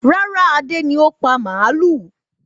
Rárá, Adé ni ó pa màlúù.